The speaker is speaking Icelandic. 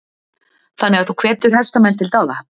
Þannig að þú hvetur hestamenn til dáða?